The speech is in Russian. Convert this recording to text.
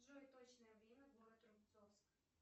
джой точное время город рубцовск